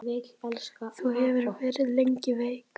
Þú hefur verið lengi veik.